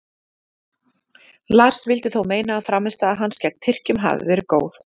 Lars vildi þó meina að frammistaða hans gegn Tyrkjum hafi verið góð.